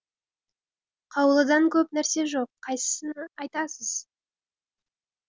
қаулыдан көп нәрсе жоқ қайсысыны айтасыз